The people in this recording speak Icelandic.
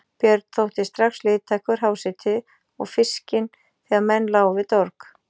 Björn þótti strax liðtækur háseti og fiskinn þegar menn lágu við dorg.